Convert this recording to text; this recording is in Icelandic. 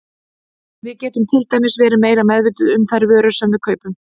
Við getum til dæmis verið meira meðvituð um þær vörur sem við kaupum.